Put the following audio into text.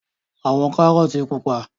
Àwọn kárọ́tì pupa.